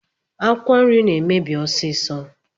Akwụkwọ nri na-emebi ọsiisọ.